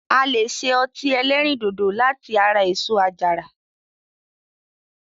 A lè ṣe ọtí ẹlẹ́rìndòdò láti ara èso àjàrà.